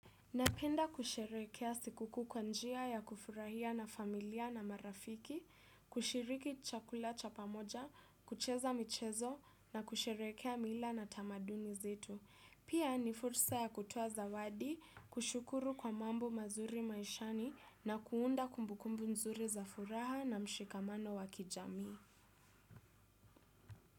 Ninapenda kusherehekea sikukuu kwa njia ya kufurahia na familia na marafiki, kushiriki chakula cha pamoja, kucheza michezo na kusherehekea mila na tamaduni zetu. Pia, ni fursa ya kutoa zawadi, kushukuru kwa mambo mazuri maishani na kuunda kumbukumbu nzuri za furaha na mshikamano wa kijamii.